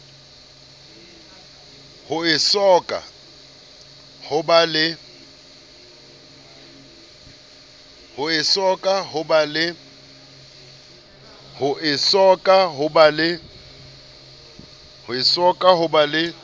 ho esoka ho ba le